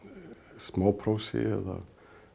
smáprósi eða